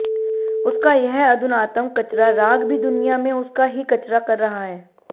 उसका यह अधुनातम कचरा राग भी दुनिया में उसका ही कचरा कर रहा है